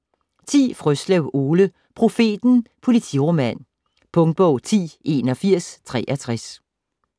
Frøslev, Ole: Profeten: politiroman Punktbog 108163